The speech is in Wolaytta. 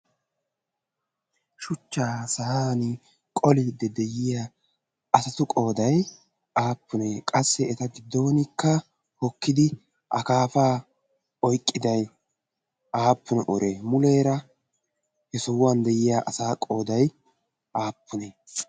shuchchaa sa'an qoliiddi de'iya asatu qooday aappunee qassi eta giddonkka hokkidi akaafaa oiqqidai aappune uree muleera he sohuwan de'iya asa qoodai aappunee?